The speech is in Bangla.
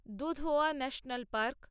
Dudhwa national park